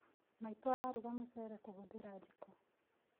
Maitũ araruga mũceere kũhũthĩra jiko